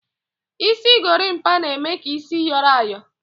Isi gorimapa na-eme ka isi yoro oyo